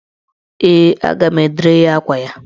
Ee, a ga m edere ya akwa ya.